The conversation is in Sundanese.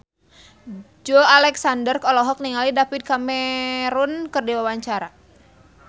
Joey Alexander olohok ningali David Cameron keur diwawancara